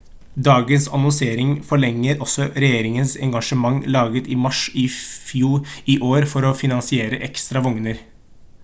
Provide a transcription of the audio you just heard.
dagens annonsering forlenget også regjeringens engasjement laget i mars i år for å finansiere ekstra vogner